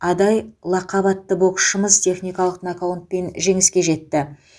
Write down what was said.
адай лақап атты боксшымыз техникалық нокаутпен жеңіске жетті